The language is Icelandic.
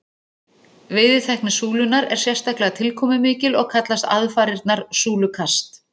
Veiðitækni súlunnar er sérstaklega tilkomumikil og kallast aðfarirnar súlukast.